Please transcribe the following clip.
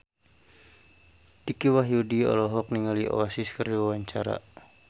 Dicky Wahyudi olohok ningali Oasis keur diwawancara